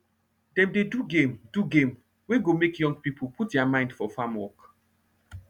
dem dey do game do game wey go make young pipo put deir mind for farm work